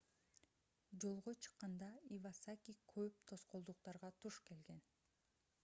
жолго чыкканда ивасаки көп тоскоолдуктарга туш келген